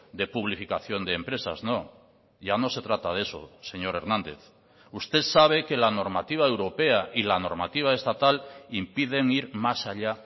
de publificación de empresas no ya no se trata de eso señor hernández usted sabe que la normativa europea y la normativa estatal impiden ir más allá